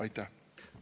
Aitäh!